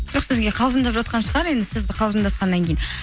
жоқ сізге қалжыңдап жатқан шығар енді сіз қалжыңдасқаннан кейін